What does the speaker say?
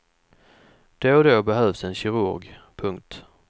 Då och då behövs en kirurg. punkt